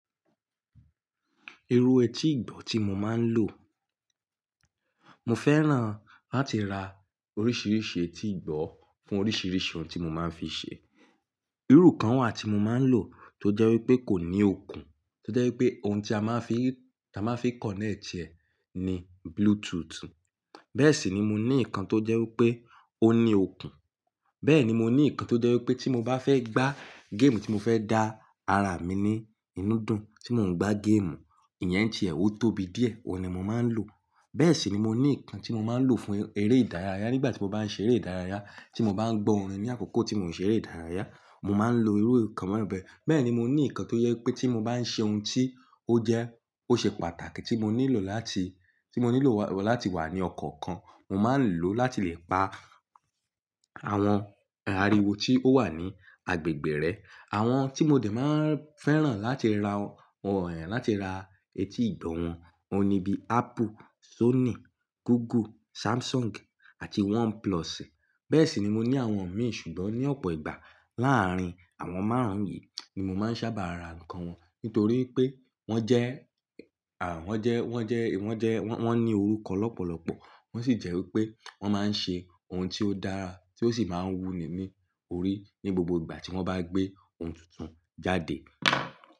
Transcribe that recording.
Irú etí ìgbọ́ tí mo máa ń lò, mo fẹ́ràn láti ra oríṣiríṣi etí ìgbọ́ fún oríṣiríṣi ohun tí mo máa ń fi ṣe. Irú kan wà tí mo máa ń lò tó jẹ́ wípé kò ní okùn, tó jẹ́ wípé ohun tí a máa ń fi, tí a máa ń fi connect ẹ ní Bluetooth. Bẹ́ẹ̀ sì ni mo ní ikan tó jẹ́ wípé ó ní okùn. Bẹ́ẹ̀ ni mo ní ikan tó jẹ́ wípé tí mo bá fẹ́ gbá game tí mo fẹ́ dá ara mi ní inú dùn tí mò ń gbá game, ìyẹn ti ẹ, ó tóbi díẹ̀, òun ni mo máa ń lò. Bẹ́ẹ̀ sì ni mo ní ikan tí mo máa ń lò fún eré ìdárayá nígbà tí mo bá ń ṣe eré ìdárayá, tí mo bá ń gbọ́ orin ní àkókò tí mò ń ṣe eré ìdárayá, mo máa ń lo irú nǹkan bẹ́ẹ̀ bẹ́ẹ̀. Bẹ́ẹ̀ ni mo ní ikan tó jẹ́ wípé tí mo bá ń ṣe ohun tí ó jẹ́, ó ṣe pàtàkì tí mo nílò láti, tí mo nílò wá, láti wà ní ọkan kan, mo máa ń lò láti lè pa àwọn ariwo tí ó wà ní agbègbè rẹ̀. Àwọn tí mo dè máa ń fẹ́ràn láti ra wọn, láti ra etí ìgbọ́ wọn, óhun ní bí Apple, Sony, Google, Samsung àti OnePlus. Bẹ́ẹ̀ sì ni mo ní àwọn mi ṣùgbọ́n ní ọ̀pọ̀ ìgbà láàárín àwọn márùn-ún yìí ni mo máa ń sábà ra nǹkan wọn. Nítorí pé wọ́n jẹ́, à, wọ́n jẹ́, wọ́n jẹ́, wọ́n jẹ́, wọ́n, wọ́n ní orúkọ lọ́pọ̀lọ́pọ̀ wọ́n sì jẹ́ wípé wọ́n máa ń ṣe ohun tí ó dára tí ó sì máa ń wúni ní orí ní gbogbo ìgbà tí wọ́n bá gbé ohun tuntun jáde.